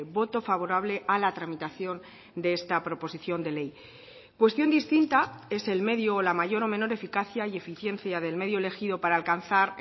voto favorable a la tramitación de esta proposición de ley cuestión distinta es el medio o la mayor o menor eficacia y eficiencia del medio elegido para alcanzar